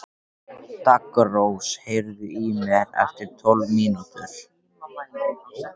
Daggrós, heyrðu í mér eftir tólf mínútur.